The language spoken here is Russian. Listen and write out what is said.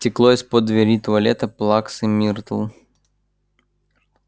текло из-под двери туалета плаксы миртл